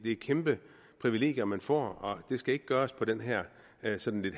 et kæmpe privilegium man får og det skal ikke gøres på den her sådan lidt